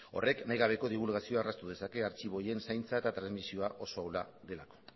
horrek nahigabeko dibulgazioa erraztu dezake artxibo horien zaintza eta transmisioa oso ahula delako